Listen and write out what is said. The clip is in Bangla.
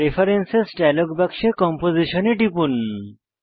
প্রেফারেন্স ডায়লগ বাক্সে কম্পোজিশন এ টিপুন